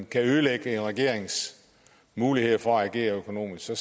kan ødelægge en regerings muligheder for at agere økonomisk så